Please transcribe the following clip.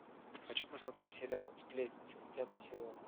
хочу посмотреть сериал сплетница пятый сезон